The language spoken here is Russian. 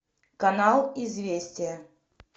канал известия